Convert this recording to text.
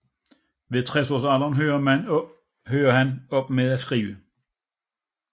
Ved 60 års alderen hørte han op med at skrive